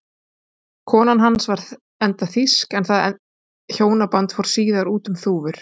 Kona hans var enda þýsk en það hjónaband fór síðar út um þúfur.